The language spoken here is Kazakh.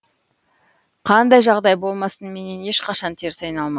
қандай жағдай болмасын менен ешқашан теріс айналма